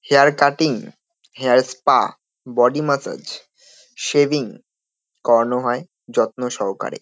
Hair cutting hair spa body massage shaving করানো হয় যত্ন সহকারে।